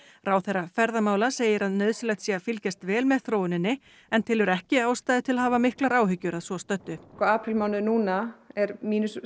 ráðherra ferðamála segir að nauðsynlegt sé að fylgjast vel með þróuninni en telur ekki ástæðu til að hafa miklar áhyggjur að svo stöddu aprílmánuður núna er